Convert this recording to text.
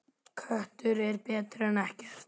Köttur er betri en ekkert.